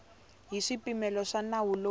hi swipimelo swa nawu lowu